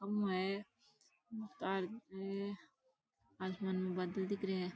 खम्भों तार की आसमान में बादळ दिख रे है।